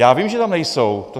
Já vím, že tam nejsou.